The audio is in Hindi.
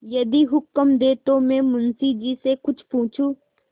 यदि हुक्म दें तो मैं मुंशी जी से कुछ पूछूँ